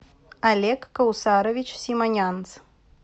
олег каусарович симонянц